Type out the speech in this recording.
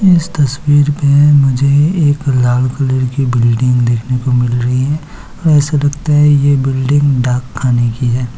इस तस्वीर मे मुझे एक लाल कलर की बिल्डिंग देखने को मिल रही है एसा लगता है ये बिल्डिंग डाक खाने की है।